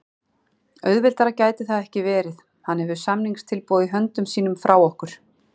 Auðveldara gæti það ekki verið. Hann hefur samningstilboð í höndum sínum frá okkur.